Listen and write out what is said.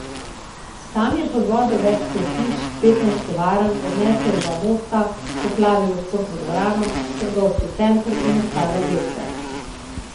Tam je pod vodo več kot sto hiš, petnajst tovarn, odneslo je dva mosta, poplavilo športno dvorano, trgovski center in ostale objekte.